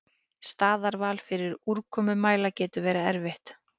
Staðarval fyrir úrkomumæla getur verið erfitt.